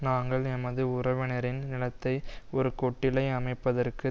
நாங்கள் எமது உறவினரின் நிலத்தை ஒரு கொட்டிலை அமைப்பதற்கு